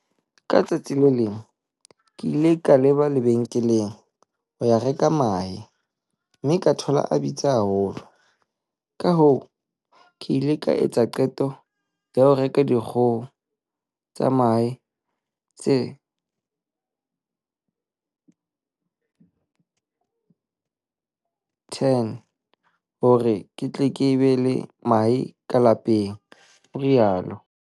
"Ka letsatsi le leng ke ile ka leba lebenkeleng ho ya reka mahe mme ka thola a bitsa haholo, kahoo ke ile ka etsa qeto ya ho reka dikgoho tsa mahe tse 10 hore re tle re be le mahe ka lapeng," o rialo.